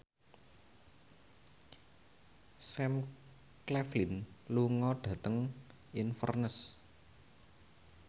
Sam Claflin lunga dhateng Inverness